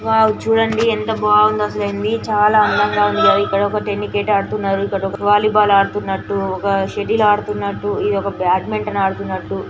Wow చూడండి ఎంత బాగుందో అసలు అయింది. చాలా అందంగా ఉందయీ ఇక్కడ ఒక టెన్నికేట్ ఆడుతున్నారు. వాలీబాల్ ఆడుతున్నట్టు ఒక సెటిల్ ఆడుతున్నట్టు ఒక బ్యాడ్మింటన్ ఆడుతున్నట్టు